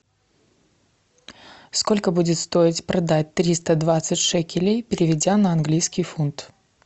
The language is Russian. сколько будет стоить продать триста двадцать шекелей переведя на английский фунт